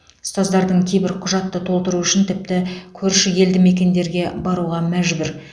ұстаздардың кейбір құжатты толтыру үшін тіпті көрші елдімекендерге баруға мәжбүр